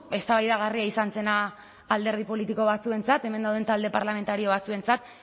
eztabaidagarria izan zena alderdi politiko batzuentzat hemen dauden talde parlamentario batzuentzat